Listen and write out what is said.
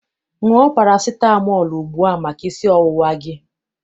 Ṅụọ parasitamọọlụ ugbua maka isi ọwụwa gị!